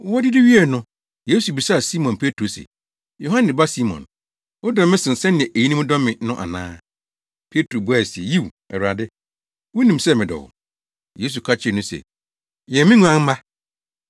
Wodidi wiei no, Yesu bisaa Simon Petro se, “Yohane ba Simon, wodɔ me sen sɛnea eyinom dɔ me no ana?” Petro buae se, “Yiw, Awurade, wunim sɛ medɔ wo.” Yesu ka kyerɛɛ no se, “Yɛn me nguamma.”